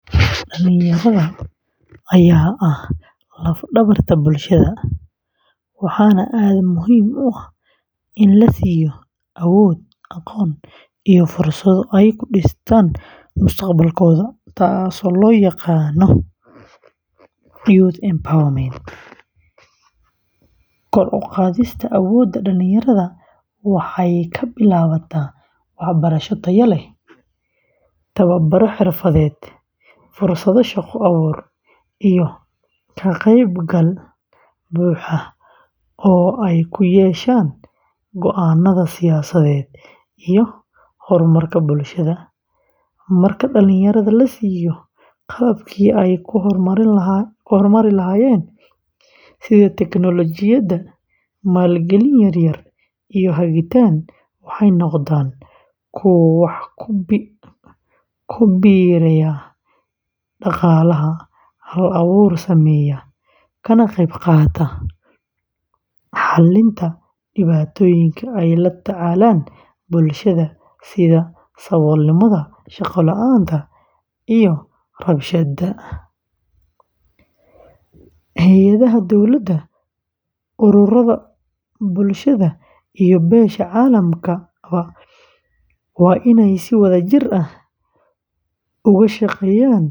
Dhallinyarada ayaa ah laf-dhabarta bulshada, waxaana aad muhiim u ah in la siiyo awood, aqoon, iyo fursado ay ku dhistaan mustaqbalkooda taasoo loo yaqaan “Youth Empowerment.” Kor u qaadista awoodda dhallinyarada waxay ka bilaabataa waxbarasho tayo leh, tababaro xirfadeed, fursado shaqo abuur, iyo ka qeybgal buuxa oo ay ku yeeshaan go’aanada siyaasadeed iyo horumarka bulshada. Marka dhallinyarada la siiyo qalabkii ay ku horumari lahaayeen, sida teknoolojiyadda, maalgelin yar-yar, iyo hagitaan, waxay noqdaan kuwo wax ku biiriya dhaqaalaha, hal-abuur sameeya, kana qeybqaata xallinta dhibaatooyinka ay la tacaalayaan bulshada sida saboolnimada, shaqo la’aanta, iyo rabshadaha. Hay’adaha dowladda, ururrada bulshada, iyo beesha caalamkaba waa inay si wadajir ah.